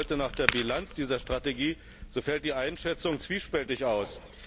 Fragt man heute nach der Bilanz dieser Strategie, so fällt die Einschätzung zwiespältig aus.